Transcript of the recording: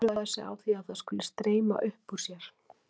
Furðar sig á því að þetta skuli streyma upp úr sér.